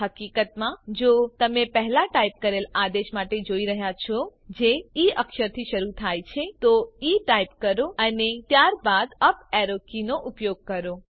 હકીકતમાં જો તમે પહેલા ટાઈપ કરેલ આદેશ માટે જોઈ રહ્યા છો જે ઇ અક્ષરથી શરુ થાય છે તો ઇ ટાઈપ કરો અને ત્યારબાદ અપ એરો કી નો ઉપયોગ કરો